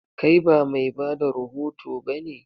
Kai ba mai bada rahoto ba ne?